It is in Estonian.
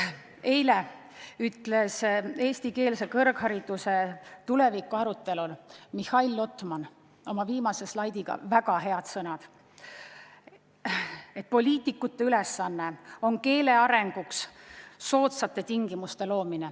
Eile ütles eestikeelse kõrghariduse tuleviku arutelul Mihhail Lotman oma viimast slaidi esitledes väga õiged sõnad: poliitikute ülesanne on keele arenguks soodsate tingimuste loomine.